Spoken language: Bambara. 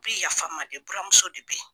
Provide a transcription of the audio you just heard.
bi yafa n ma de buramuso de bɛ ye.